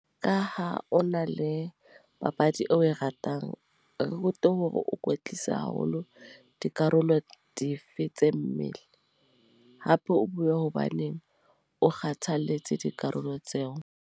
Ka ha o na le papadi eo o e ratang. Re rute hore o ikwetlisa haholo dikarolo dife tse mmele. Hape o bue hobaneng o kgathaletse dikarolo tseo.